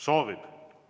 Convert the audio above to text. Soovib.